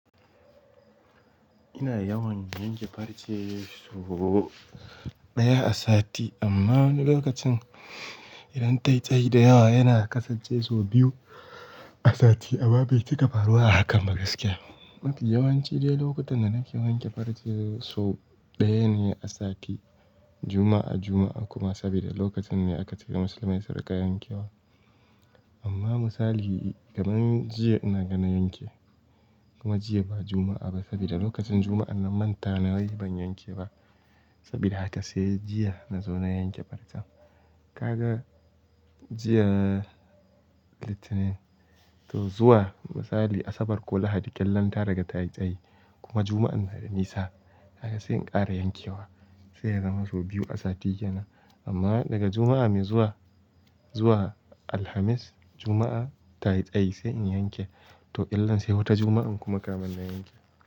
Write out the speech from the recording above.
Ina yawan yanke farce sau ɗaya a sati, amma wani lokacin idan ta'a'i da yawa yana kasa cizo biyu a sati abba bai cika faruwa a haka magaskiya. Yawan ci ne lokutan da nake wanke farce sau ɗaya ne a sati Juma'a Juma'a kuma saboda lokacin ne aka tafi massalaci riƙa yankewa. Amma misali kamar jiya na gana yanke kuma jiya ba Juma'a ba saboda lokacin Juma'an nan manta nayi ban yanke ba. Saboda haka sai jiya na zo na yanke farce. Kaga jiya litinin to zuwa misali Asabar ko Lahadi ta riga tsayi kuma Juma'an na da nisa haka sai in ƙara yankewa sai ya zama sau biyu a sati yana. Amma daga Juma'a mai zuwa, zuwa Alhamis, Juma'a ta'a'i tsayi in yanke to illan sai wata Juma'a kuma kamar na yanke.